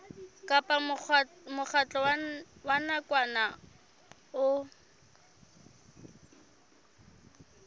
kapa mokgatlo wa nakwana o